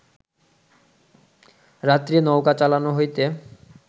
রাত্রে নৌকা চালনা হইতে